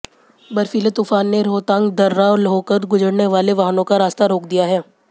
बर्फीले तूफान ने रोहतांग दर्रा होकर गुजरने वाले वाहनों का रास्ता रोक दिया है